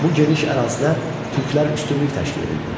Bu geniş ərazidə türklər üstünlük təşkil edirdi.